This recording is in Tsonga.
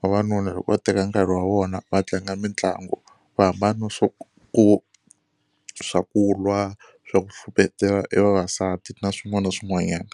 vavanuna loko va teka nkarhi wa vona va tlanga mitlangu va hambana swo ku swa ku lwa, swa ku hluphetela e vavasati na swin'wana na swin'wanyana.